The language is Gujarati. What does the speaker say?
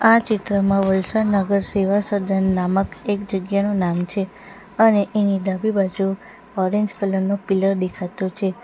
આ ચિત્રમાં વલસાડ નગર સેવાસદન નામક એક જગ્યાનું નામ છે અને એની ડાબી બાજુ ઓરેન્જ કલર નો પિલર દેખાતો છે.